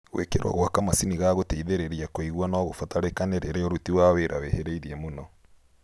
Gwĩkĩrwo gwa kamacini ga gũteithĩrĩria kũigua nogũbatarĩkane rĩrĩa ũruti wa wĩra wĩhĩrĩirie mũno